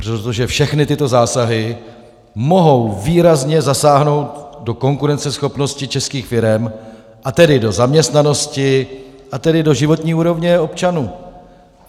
Protože všechny tyto zásahy mohou výrazně zasáhnout do konkurenceschopnosti českých firem, a tedy do zaměstnanosti, a tedy do životní úrovně občanů.